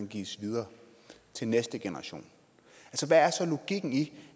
gives videre til næste generation hvad er så logikken i